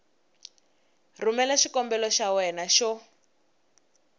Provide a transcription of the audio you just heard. rhumela xikombelo xa wena xo